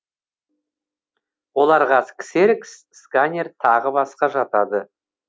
оларға ксерокс сканер тағы басқа жатады